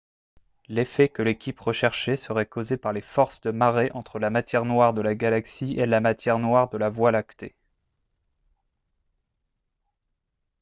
l'effet que l'équipe recherchait serait causé par les forces de marée entre la matière noire de la galaxie et la matière noire de la voie lactée